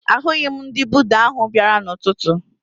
Ahụghị m ndị Buda ahụ bịara n'ụtụtụ